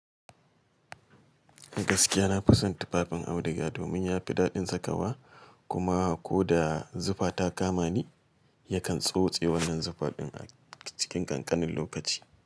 Gaskiya na fi son tufafin auduga domin ya fi daɗin sakawa kuma ko da zufa ta kama ni yakan tsotse wannan zufa din a cikin ƙanƙanin lokaci.